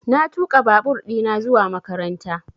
Na tuƙa babur ɗina zuwa makaranta